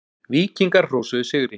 Víkingar hrósuðu sigri